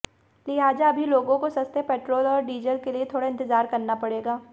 लिहाजा अभी लोगों को सस्ते पेट्रोल और डीजल के लिए थोड़ा इंतजार करना पड़ेगा